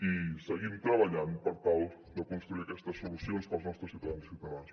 i seguim treballant per tal de construir aquestes solucions per als nostres ciutadans i ciutadanes